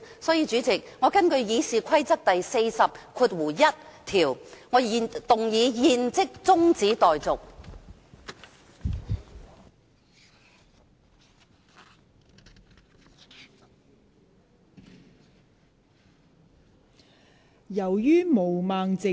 代理主席，我根據《議事規則》第401條，動議"現即將辯論中止待續"的議案。